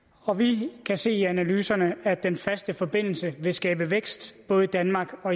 og vi kan se af analyserne at den faste forbindelse vil skabe vækst både i danmark og